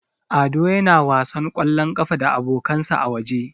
Ado yana wasan ƙwallon ƙafa da abokansa a waje.